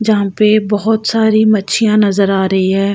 जहाँ पे बहोत सारी मच्छियाँ नजर आ रही है।